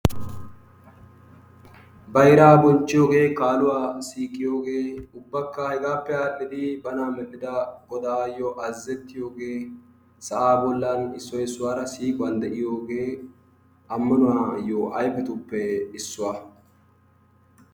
Bayraa bonchiyoge kaluwa siqiyoge ubbakka hegappe adhiddi bana medhida godayo azazetiyogee sa'a bolan issoy issuwara siiquwan de'iyoge amanuwayo ayfetuppe issuwa.